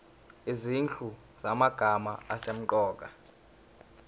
izinhlu zamagama asemqoka